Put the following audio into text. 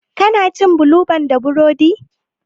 Ka na cin bulu ban da burodi?